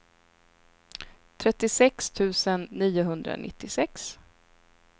trettiosex tusen niohundranittiosex